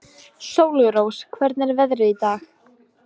Sólrós, hvernig er veðrið í dag?